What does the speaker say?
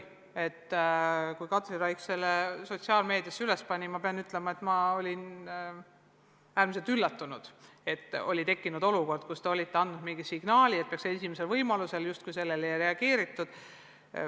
Ma pean ütlema, et kui Katri Raik selle teate sotsiaalmeediasse üles pani, olin äärmiselt üllatunud – oli tekkinud olukord, kus te olite andnud mingisuguse signaali, et minister peaks vastama esimesel võimalusel, aga sellele justkui ei reageeritud.